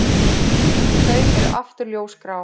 Þau eru aftur ljósgrá.